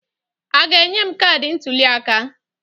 A ga-enye m kaadị ntụliaka?